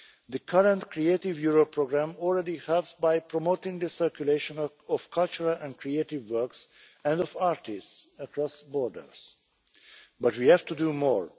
The current Creative Europe programme already helps by promoting the circulation of cultural and creative works and of artists across borders but we have to do more.